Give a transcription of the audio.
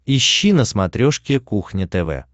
ищи на смотрешке кухня тв